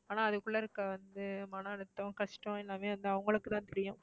ஆனா அதுக்குள்ள இருக்கற வந்து மன அழுத்தம் கஷ்டம் எல்லாமே அது அவங்களுக்கு தான் தெரியும்.